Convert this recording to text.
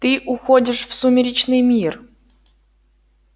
ты уходишь в сумеречный мир